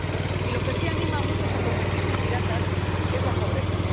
Y lo que sí anima a muchos a convertirse en piratas es la pobreza.